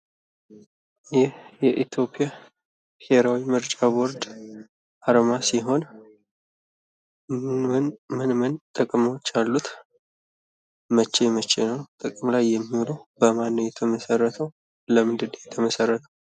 ይህ የኢትዮጵያ ብሔራዊ ምርጫ ቦርድ አርማ ሲሆን ምን ምን ጥቅሞች አሉት ? መቼ መቼ ጥቅም ላይ ይውላል? በማን ነው የተመሰረተው? ለምንስ ተመሠረተ?